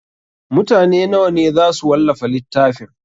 Mutane nawa ne za su wallafa littafin?